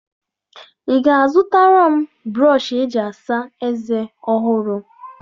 Ị ga-azụtara m brọshị eji asa eze ọhụrụ?